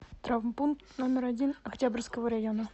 травмпункт номер один октябрьского района